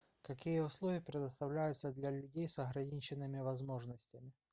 какие условия предоставляются для людей с ограниченными возможностями